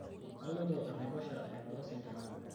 kaloito enaiposha aing'oru isingirr